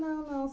Não, não.